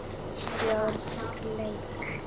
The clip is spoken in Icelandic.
Stjórn LEK